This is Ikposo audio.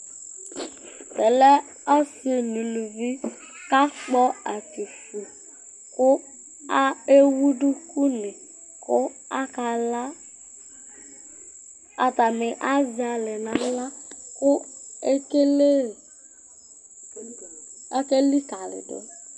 Ɛfɛ lɛ ɔsɩ nʋ uluvi kʋ akpɔ atsuku kʋ a ewu dukunɩ kʋ akala Atanɩ azɛ alɛ nʋ aɣla kʋ ekele akelikalɩ dʋ